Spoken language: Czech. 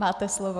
Máte slovo.